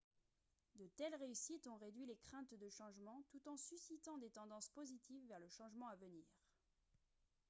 de telles réussites ont réduit les craintes de changement tout en suscitant des tendances positives vers le changement à venir